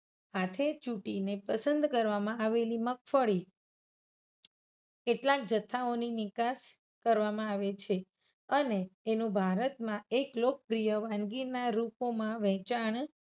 હાથે ચુંટીને પસંદ કરવામાં આવેલ મગફળી કેટલાક જથ્થાઓની નિકાસ કરવામાં આવે છે. અને એનુ ભારતમાં એક લોકપ્રિય વાનગીના રુપોમાં વહેંચાણ